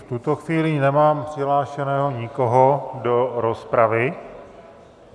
V tuto chvíli nemám přihlášeného nikoho do rozpravy.